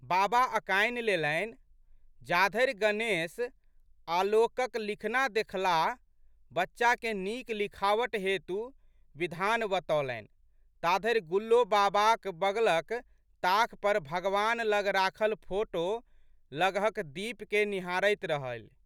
बाबा अकानि लेलनि। जाधरि गणेश आलोकक लिखना देखलाह, बच्चाके नीक लिखावट हेतु विधान बतौलनि ताधरि गुल्लो बाबाक बगलक ताख पर भगवान लग राखल फोटो लगहक दीपके निहारैत रहलि।